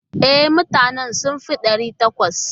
E, mutanen sun fi ɗari takwas.